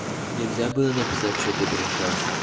нельзя было написать что ты пришла